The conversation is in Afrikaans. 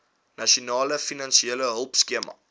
nasionale finansiële hulpskema